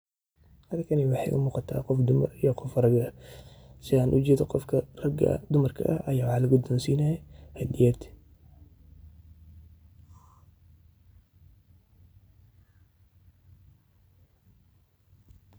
Halkani waxay u muqata qof dumara iyo qof raga Sithan u jedo qofka dumarka wxa lagudonsinaya hadiyad